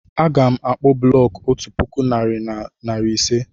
Aga m akpu bụlọku otú puku narị na narị ise